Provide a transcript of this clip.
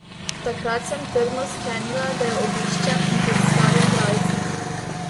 Takrat sem trdno sklenila, da jo obiščem in predstavim bralcem.